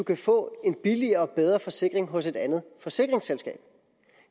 kan få en billigere og bedre forsikring hos et andet forsikringsselskab